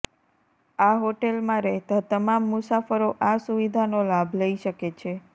આ હોટેલમાં રહેતા તમામ મુસાફરો આ સુવિધાનો લાભ લઈ શકે છે